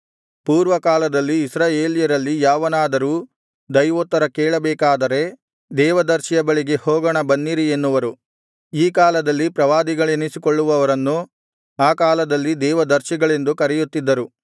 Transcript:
ಪೂರ್ವ ಕಾಲದಲ್ಲಿ ಇಸ್ರಾಯೇಲ್ಯರಲ್ಲಿ ಯಾವನಾದರೂ ದೈವೋತ್ತರ ಕೇಳಬೇಕಾದರೆ ದೇವ ದರ್ಶಿಯ ಬಳಿಗೆ ಹೋಗೋಣ ಬನ್ನಿರಿ ಎನ್ನುವರು ಈ ಕಾಲದಲ್ಲಿ ಪ್ರವಾದಿಗಳೆನಿಸಿಕೊಳ್ಳುವವರನ್ನು ಆ ಕಾಲದಲ್ಲಿ ದೇವದರ್ಶಿಗಳೆಂದು ಕರೆಯುತ್ತಿದ್ದರು